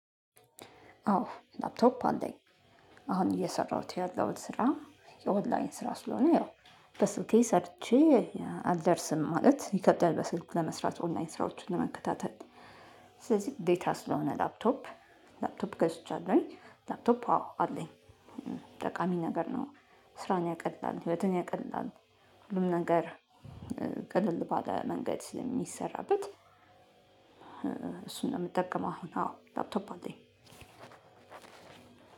አዎ ላፕቶፕ አለኝ። አሁን እየሰራሁት ያለሁት ስራ የኦንላይን ስራ ስለሆነ ያው በስልኬ ሰርቼ አልደርስም ማለት ይከብዳል በስልክ ለመስራት ኦንላይን ስራዎችን ለመከታተል። ስለዚህ ግዴታ ስለሆነ ላፕቶፕ ላፕቶፕ ገዝቻለሁኝ ላፕቶፕ አዎ አለኝ። ጠቃሚ ነገር ነው ስራን ያቀላል ህይወትን ያቀላል። ሁሉም ነገር ቅልል ባለ መንገድ ስለሚሰራበት እሱን ነው የምጠቀመው። አሁን አዎ ላፕቶፕ አለኝ።